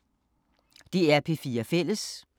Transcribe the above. DR P4 Fælles